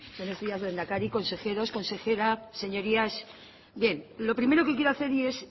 buenos días lehendakari consejeros consejera señorías bien lo primero que quiero hacer es